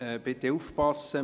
Bitte aufpassen: